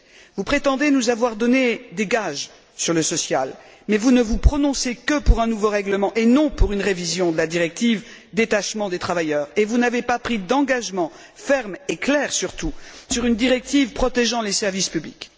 Vous prétendez nous avoir donné des gages sur le social, mais vous ne vous prononcez que pour un nouveau règlement et non pour une révision de la directive détachement des travailleurs, et vous n'avez pas pris d'engagement ferme, et clair surtout, sur une directive protégeant les services publics.